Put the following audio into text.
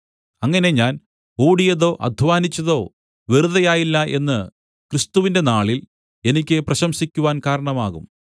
അങ്ങനെ ഞാൻ ഓടിയതോ അദ്ധ്വാനിച്ചതോ വെറുതെയായില്ല എന്ന് ക്രിസ്തുവിന്റെ നാളിൽ എനിക്ക് പ്രശംസിക്കുവാൻ കാരണമാകും